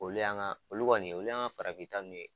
Olu y'an ka olu kɔni olu y'an ka farafinta ninnu ye.